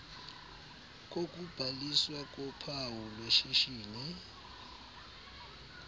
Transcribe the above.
kokubhaliswa kophawu lweshishini